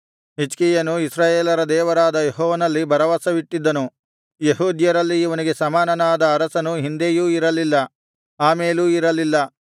ಹಿಜ್ಕೀಯನು ಇಸ್ರಾಯೇಲರ ದೇವರಾದ ಯೆಹೋವನಲ್ಲಿ ಭರವಸವಿಟ್ಟಿದ್ದನು ಯೆಹೂದ್ಯರಲ್ಲಿ ಇವನಿಗೆ ಸಮಾನನಾದ ಅರಸನು ಹಿಂದೆಯೂ ಇರಲಿಲ್ಲ ಆಮೇಲೂ ಇರಲಿಲ್ಲ